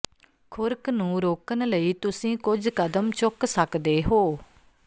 ਖੁਰਕ ਨੂੰ ਰੋਕਣ ਲਈ ਤੁਸੀਂ ਕੁਝ ਕਦਮ ਚੁੱਕ ਸਕਦੇ ਹੋ